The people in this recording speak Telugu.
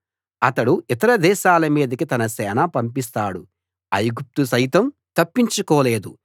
అతడు ఇతర దేశాల మీదికి తన సేన పంపిస్తాడు ఐగుప్తు సైతం తప్పించుకోలేదు